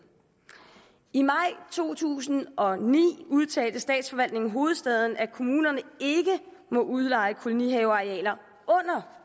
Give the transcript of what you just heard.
i maj to tusind og ni udtalte statsforvaltningen hovedstaden at kommunerne ikke må udleje kolonihavearealer under